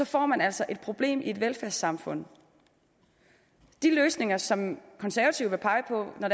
får man altså et problem i et velfærdssamfund de løsninger som konservative vil pege på når